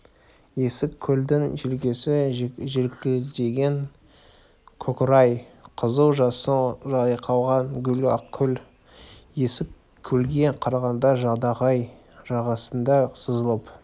есік көлдің желкесі желкілдеген көкорай қызыл жасыл жайқалған гүл ақкөл есік көлге қарағанда жадағай жағасында сызылып